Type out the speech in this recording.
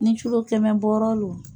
Ni culo kɛmɛ bɔɔrɔro